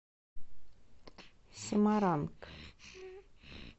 семаранг